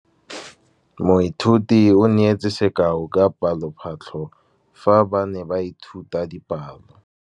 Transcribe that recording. Moithuti o neetse sekaô sa palophatlo fa ba ne ba ithuta dipalo.